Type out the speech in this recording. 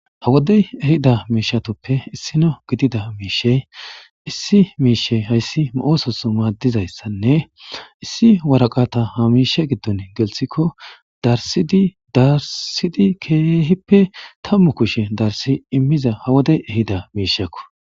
hawodey ehida miishatoppe issino gidida miishey issi miishey hayssi mo7ososo maaddizayssanne issi waraqata hamiishe giddon gelthikko darsidi darsidi keehippe tammu kushe darsi immiza hawodey ehida miishakko